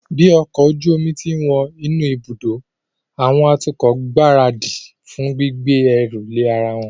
Bí ọkọ̀ ojú omi ti ń wọ inú ibùdó, àwọn atukọ̀ ń gbáradì fún gbígbé ẹrù lé ara wọn